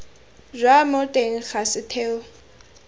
jwa mo teng ga setheo